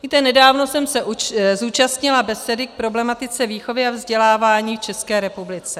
Víte, nedávno jsem se zúčastnila besedy k problematice výchovy a vzdělávání v České republice.